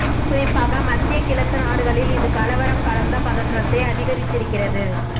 குறிப்பாக மத்திய கிழக்கு நாடுகளில் இது கலவரம் கலந்த பதற்றத்தை அதிகரித்திருக்கிறது